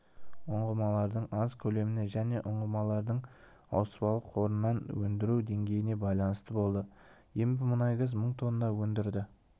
ұңғымалардың аз көлеміне және ұңғымалардың ауыспалы қорынан өндіру деңгейіне байланысты болды ембімұнайгаз мың тонна өндірді